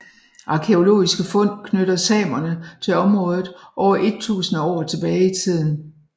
Arkæologiske fund knytter samerne til området over et tusinde år tilbage i tiden